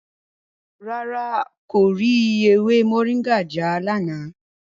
Rárá, n kò rí ewé Moringa já lánàá.